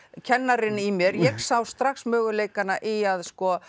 kennarinn í mér ég sá strax möguleikana í að